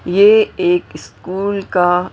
ये एक स्कूल का--